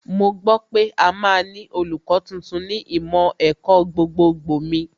Mo gbọ́ pé a máa ní olùkọ́ tuntun ní ìmọ̀ ẹ̀kọ́ gbogbogbò mi